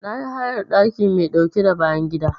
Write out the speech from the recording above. Na yi hayar ɗaki mai ɗauke da bayan gida.